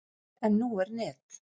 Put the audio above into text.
En nú er net.